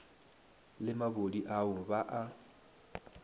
le mabodi ao ba a